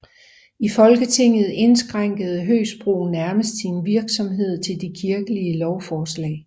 I Folketinget indskrænkede Høgsbro nærmest sin virksomhed til de kirkelige lovforslag